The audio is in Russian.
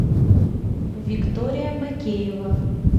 виктория макеева